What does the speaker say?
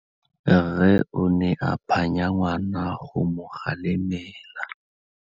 Rre o ne a phanya ngwana go mo galemela.